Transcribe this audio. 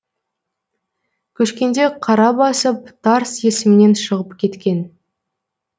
көшкенде қара басып тарс есімнен шығып кеткен